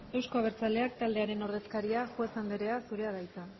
euzko abertzaleak taldearen ordezkaria juez andrea zurea da hitza